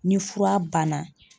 Ni fura banna.